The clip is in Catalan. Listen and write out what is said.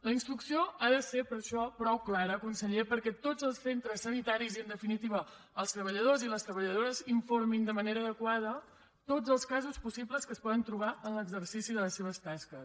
la instrucció ha de ser per això prou clara conseller perquè tots els centres sanitaris i en definitiva els treballadors i les treballadores informin de manera adequada de tots els casos possibles que es poden trobar en l’exercici de les seves tasques